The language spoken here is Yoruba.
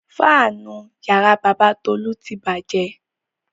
Fáánù ìyàrá bàbá Tolú ti bàjẹ́.